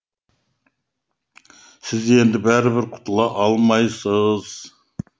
сіз енді бәрібір құтыла алмайсыз